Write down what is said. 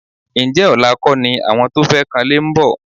Ǹjẹ́ ọ̀la kọ́ ni àwọn tó fẹ́ kanlé ń bọ̀?